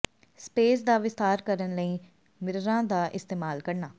space ਦਾ ਵਿਸਥਾਰ ਕਰਨ ਲਈ ਮਿਰਰਾਂ ਦਾ ਇਸਤੇਮਾਲ ਕਰਨਾ